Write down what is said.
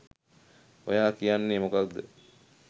ඔයා කියන්නේ මොකද්ද